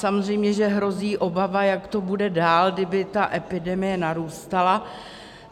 Samozřejmě že hrozí obava, jak to bude dál, kdyby ta epidemie narůstala.